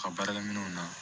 Ka baarakɛminɛnw na